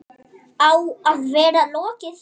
Á að vera lokið fyrir